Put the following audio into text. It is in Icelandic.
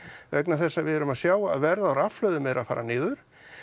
vegna þess að við erum að sjá að verð á rafhlöðum er að fara niður